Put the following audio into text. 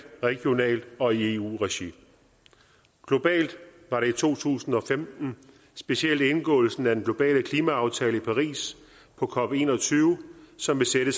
regionalt og i eu regi globalt var det i to tusind og femten specielt indgåelsen af den globale klimaaftale i paris på cop21 som vil sætte